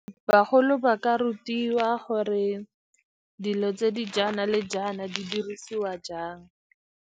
Bagolo ba ka rutiwa gore dilo tse di jaana le jaana di dirisiwa jang.